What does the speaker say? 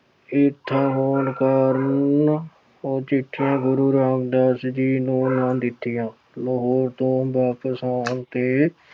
ਈਰਖਾ ਹੋਣ ਕਾਰਨ ਉਹ ਚਿੱਠੀਆਂ ਗੁਰੂ ਰਾਮਦਾਸ ਜੀ ਨੂੰ ਨਾ ਦਿੱਤੀਆਂ। ਲਾਹੌਰ ਤੋਂ ਵਾਪਸ ਆਉਣ ਤੇ